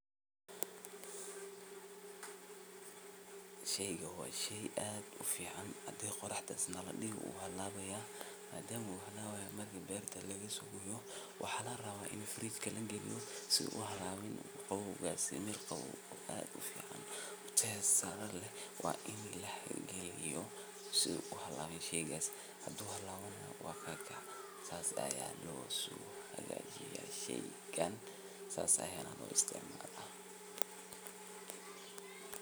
Sheygan waa shey aad iyo aad u fiican, markii beerta laga soo gooyo waa in si degdeg ah fridge ka loo geliyo ama oorxda lagu dhigo, haddii kale wuu hallabayaa. Waa mid ka mid ah miraha ama khudaarta u nugul kulaylka iyo cimilooyinka qallalan, markaa si uu u sii ahaado mid cusub oo la cuni karo, wuxuu u baahan yahay qabow joogto ah. Haddii aan si sax ah loo keydin, wuxuu bilaabaa inuu jilco, ur yeesho ama uu dabciyo,.